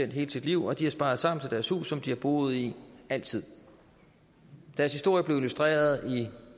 hele sit liv og de har sparet sammen til deres hus som de har boet i altid deres historie blev illustreret i